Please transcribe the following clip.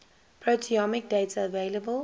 proteomic data available